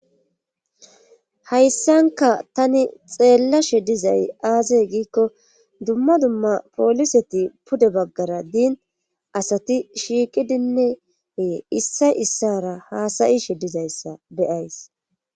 hayssanka tani xeellashe dizay aazey giikko dumma dumma pooliseti pude baggara diin asati shiiqidinneee issay issara haasayishe dizayssa beyays